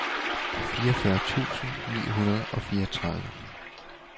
fireogfyrre tusind ni hundrede og fireogtredive